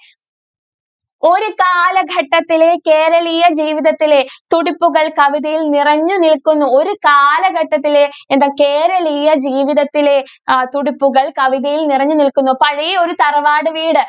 ഒരു കാലഘട്ടത്തിലെ കേരളീയ ജീവിതത്തിലെ തുടിപ്പുകൾ കവിതയിൽ നിറഞ്ഞു നിൽക്കുന്നു. ഒരു കാലഘട്ടത്തിലെ എന്താണ് കേരളീയ ജീവിതത്തിലെ തുടിപ്പുകൾ കവിതയിൽ നിറഞ്ഞു നിൽക്കുന്നു. പഴയ ഒരു തറവാട് വീട്.